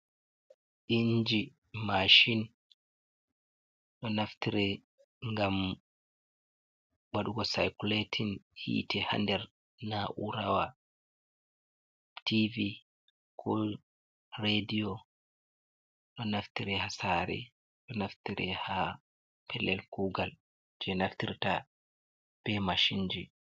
inji macin ɗo naftire ngam waɗugo saykuletin yiite, haa nder naa'urawa tv kul rediyo, ɗo naftiri haa saare ,ɗo naftire haa pellel kuugal jey naftirta be macinji.